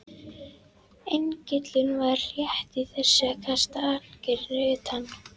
Engillinn var rétt í þessu að kasta ankeri utar.